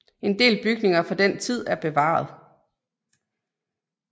En del bygninger fra den tid er bevaret